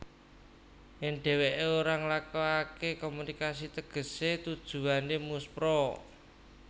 Yèn dhèwèké ora nglakokaké komunikasi tegesé tujuwané muspra